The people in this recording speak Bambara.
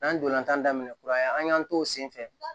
N'an ntolantan daminɛ kura an y'an t'o sen fɛ